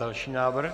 Další návrh.